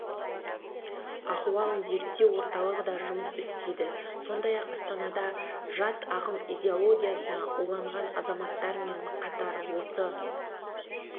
ахуалын зерттеу орталығы да жұмыс істейді сондай-ақ астанада жат ағым идеологиясына уланған азаматтармен қатар осы